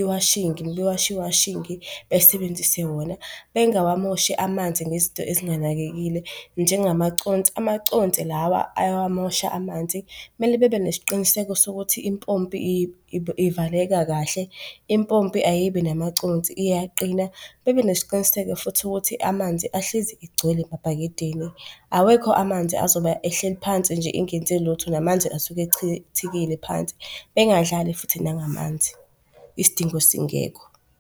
iwashingi mebewasha iwashingi basebenzise wona bengawamoshi amanzi ngezintono ezinganakekile njengamaconsi, amaconsi lawa ayawamosha amanzi. Mele babenesiqiniseko sokuthi impompi ivaleka kahle, impompi ayibi namaconsi iyaqina. Bebenesiqiniseko futhi ukuthi amanzi ahlezi egcwele emabhakedeni. Awekho amanzi azoba ehleli phansi nje engenze lutho, namanzi esuke echithekile phansi. Bengadlali futhi nangamanzi isidingo singekho.